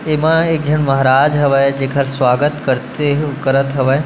एमा एक झन महाराज हवे जेकर सवागत करथे करत हवे।